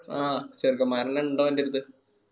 ആ ചെറുക്കന്മാരെന്നെ ഇണ്ട് ഓന്റെ അടുത്ത്